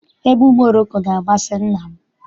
Egwu Moroko na-amasị nna m.